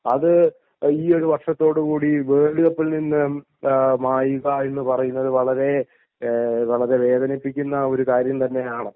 അത് ഈ ഒരു വര്ഷത്തോടുകൂടി വേൾഡ് കപ്പിൽ നിന്ന് മായുക എന്ന് പറയുന്നത് വളരെ വളരെ വേദനിപ്പിക്കുന്ന ഒരു കാര്യം തന്നെയാണ്